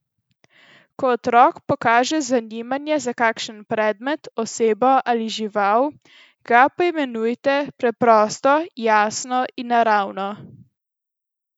Ko otrok pokaže zanimanje za kakšen predmet, osebo ali žival, ga poimenujte preprosto, jasno in naravno.